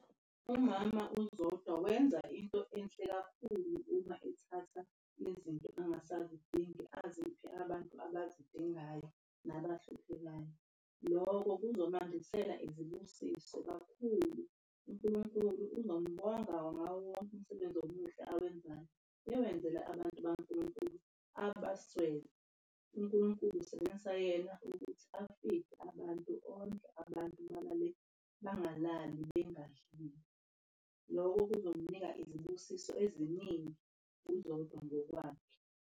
Umama uZodwa wenza into enhle kakhulu uma ethatha izinto angasazidingi aziphe abantu abazidingayo nabahluphekayo. Loko kuzogcwalisela izibusiso kakhulu. UNkulunkulu uzombonga ngawo wonke umsebenzi omuhle awenzayo, ewenzela abantu bakaNkulunkulu abaswele. UNkulunkulu usebenzisa yena ukuthi asize abantu ondle abantu, balale, bangalali bengadlile. Lokho kuzomnika izibusiso eziningi uZodwa ngokwakhe.